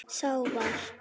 Sá var